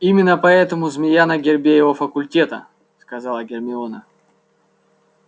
именно поэтому змея на гербе его факультета сказала гермиона